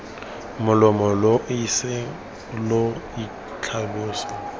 molomo lo ise lo itlhalose